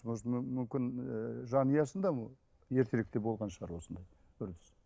может мүмкін ыыы жанұясында ертеректе болған шығар осындай көрініс